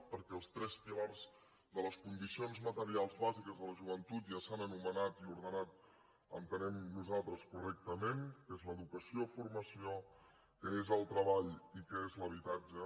perquè els tres pilars de les condicions materials bàsiques de la joventut ja s’han anomenat i ordenat entenem nosaltres correctament que és l’educació i formació que és el treball i que és l’habitatge